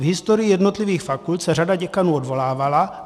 V historii jednotlivých fakult se řada děkanů odvolávala.